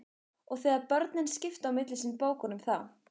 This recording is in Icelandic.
Og þegar börnin skiptu á milli sín bókunum þá